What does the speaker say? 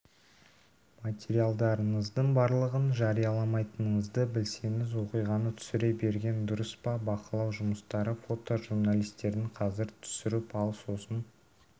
материалдарыңыздың барлығын жарияламайтыныңызды білсеңіз оқиғаны түсіре берген дұрыс па бақылау жұмыстары фотожурналистердің қазір түсіріп ал сосын